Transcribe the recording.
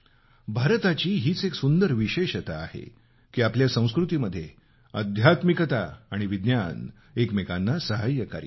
भारताची हीच एक सुंदर विशेषता आहे की आपल्या संस्कृतीमध्ये अध्यात्मिकता आणि विज्ञान एकमेकांना सहाय्यकारी आहेत